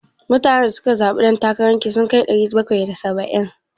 Mutanen da suka zaɓe dan takara ki sun kai ɗari bakwai da saba'in?